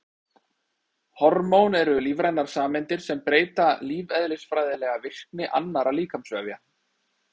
Hormón eru lífrænar sameindir sem breyta lífeðlisfræðilega virkni annarra líkamsvefja.